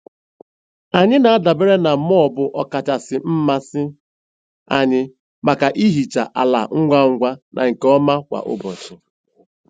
Anyị na-adabere na mop ọkacha mmasị anyị maka ihicha ala ngwa ngwa na nke ọma kwa ụbọchị.